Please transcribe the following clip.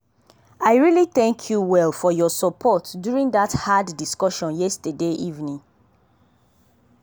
i really thank you well for your support during that hard discussion yesterday evening.